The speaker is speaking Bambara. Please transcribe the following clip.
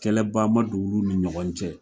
Kɛlɛba ma don olu ni ɲɔgɔn cɛ